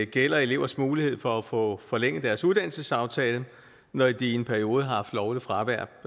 gælder elevers mulighed for at få forlænget deres uddannelsesaftale når de i en periode har haft lovligt fravær